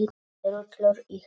Rúllur í hárinu.